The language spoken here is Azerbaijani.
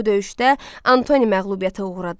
Bu döyüşdə Antoni məğlubiyyətə uğradı.